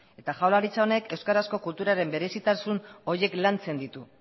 eta jaurlaritza honek euskarazko kulturaren berezitasun horiek lantzen ditu